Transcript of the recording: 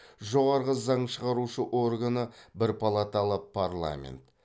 жоғарғы заң шығарушы органы бір палаталы парламент